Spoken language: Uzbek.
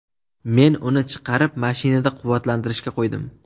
Men uni chiqarib, mashinada quvvatlantirishga qo‘ydim.